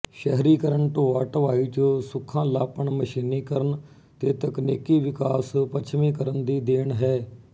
ਸ਼ਹਿਰੀਕਰਨ ਢੋਆਢੁਆਈ ਚ ਸੁਖਾਲ਼ਾਪਣਮਸ਼ੀਨੀਕਰਨ ਤੇ ਤਕਨੀਕੀ ਵਿਕਾਸ ਪੱਛਮੀਕਰਨ ਦੀ ਦੇਣ ਹੈ